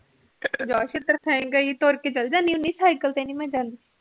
ਜਾ ਤੁਰ ਕੇ ਚੱਲ ਜਾਂਦੀ ਸਾਇਕਲ ਤੇ ਨੀ ਮੈ ਜਾਂਦੀ